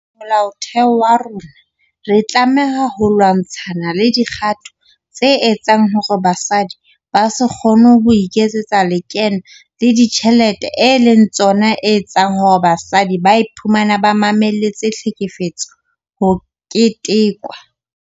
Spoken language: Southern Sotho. Molaotheo wa rona re tlameha ho lwa-ntshana le dikgato tse etsang hore basadi ba se kgone ho iketsetsa lekeno le dijthelete e leng tsona etseng hore basadi ba iphumane ba mamelletse tlhekefetso ho ketekwa.